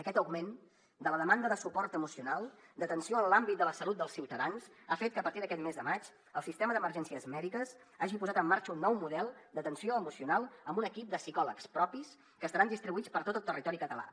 aquest augment de la demanda de suport emocional d’atenció en l’àmbit de la salut dels ciutadans ha fet que a partir d’aquest mes de maig el sistema d’emergències mèdiques hagi posat en marxa un nou model d’atenció emocional amb un equip de psicòlegs propis que estaran distribuïts per tot el territori català